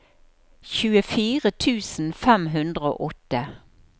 tjuefire tusen fem hundre og åtte